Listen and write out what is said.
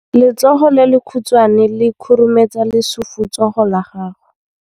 Letsogo le lekhutshwane le khurumetsa lesufutsogo la gago.